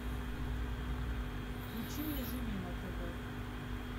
включи мне живи на тв